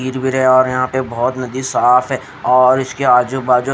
गिर वीर है और यहाँ पर बहोत नदी साफ है और इसके आजु बाजु--